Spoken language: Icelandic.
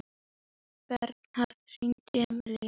Bernharð, hringdu í Emilíu.